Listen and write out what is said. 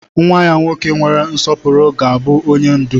Nwa ya nwoke nwere nsọpụrụ ga-abụ onye ndú.